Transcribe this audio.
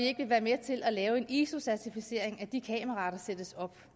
ikke vil være med til at lave en iso certificering af de kameraer der sættes op